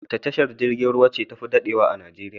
Wace tashar jirgin ruwa ce tafi daɗewa a Najeriya?